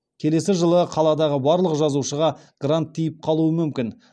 келесі жылы қаладағы барлық жазушыға грант тиіп қалуы мүмкін